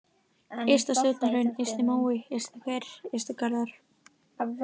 Ystasjónarhraun, Ysti-Mói, Ystihver, Ystu-Garðar